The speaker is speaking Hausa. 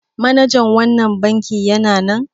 Manajan wannan bankin yana nan?